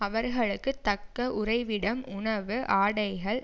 அவர்களுக்கு தக்க உறைவிடம் உணவு ஆடைகள்